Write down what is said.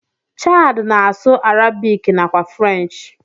Chard na asụ arabic nakwa french.